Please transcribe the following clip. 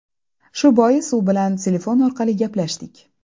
Shu bois u bilan telefon orqali gaplashdik.